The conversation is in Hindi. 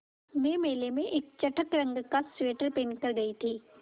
मैं मेले में एक चटख नीले रंग का स्वेटर पहन कर गयी थी